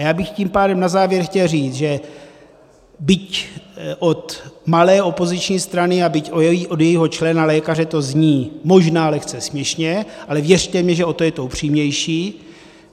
A já bych tím pádem na závěr chtěl říct, že byť od malé opoziční strany a byť od jejího člena lékaře to zní možná lehce směšně, ale věřte mi, že o to je to upřímnější.